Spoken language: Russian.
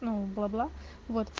бла бла вот